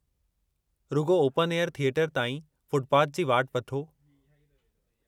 रुॻो open air theatre ताईं footpath जी वाट वठो।